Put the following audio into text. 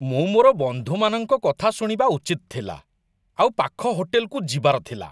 ମୁଁ ମୋର ବନ୍ଧୁମାନଙ୍କ କଥା ଶୁଣିବା ଉଚିତ ଥିଲା ଆଉ ପାଖ ହୋଟେଲକୁ ଯିବାର ଥିଲା।